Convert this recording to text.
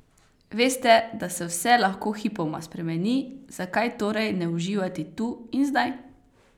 Veste, da se vse lahko hipoma spremeni, zakaj torej ne uživati tu in zdaj?